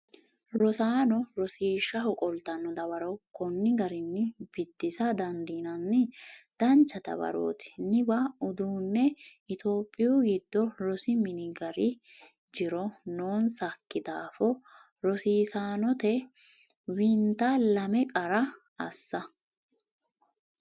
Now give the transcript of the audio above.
rosaano rosiishshaho qoltanno dawaro konni garinni biddisa dandiinanni “Dancha dawarooti niwaa Uduunne Itophiyu giddo rosi minna gari jiro noonsakki daafo rosiisaanote? wennita lame qara assa